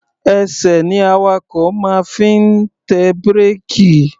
Ẹsẹ̀ ní awakọ̀ máa ń fi ń tẹ bírèkì.